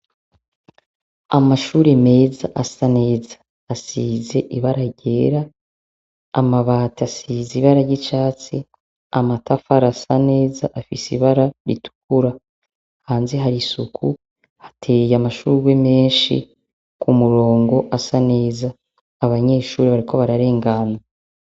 Amashure meza, asa neza asize ibara ryera amabati asize ibara ry'icatsi amatafara asa neza afise ibara ritukura hanzi hari isuku hateye amashurwe menshi ku murongo, asa neza abanyeshuri ariko bararenganwa.